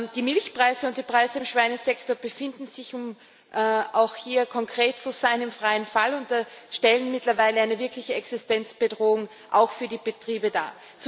Die Milchpreise und die Preise im Schweinesektor befinden sich um auch hier konkret zu sein im freien Fall und stellen mittlerweile eine wirkliche Existenzbedrohung, auch für die Betriebe, dar.